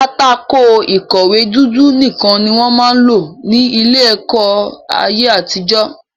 Pátákó ìkọ̀wé dúdú nìkan ni wọ́n máa ń lò ní ilé-ẹ̀kọ́ ní ayé-àtijọ́.